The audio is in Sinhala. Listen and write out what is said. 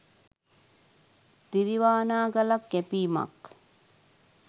තිරිවානා ගලක් කැපීමක්